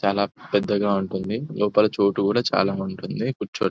చాలా పెద్దగా ఉంటుంది లోపల చోటు కూడా చాలా ఉంటుంది కూర్చో --